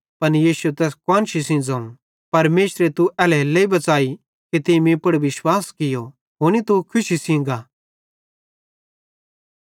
पन यीशुए तैस कुआन्शी सेइं ज़ोवं परमेशरे तू एल्हेरेलेइ बच़ाई कि तीं मीं पुड़ विश्वास कियो हुनी तू खुशी सेइं गा